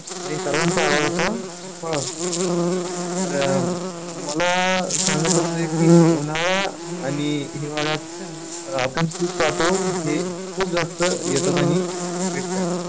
आणि सर्वांचा आवडता फळ असतो आणि तर मला सांगायचं अस आहे की उन्हाळा आणि हिवाळ्यात आपण खूप पाहतो हे खूप जास्त येतात आणि विकतात.